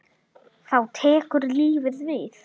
Þá tekur lífið við?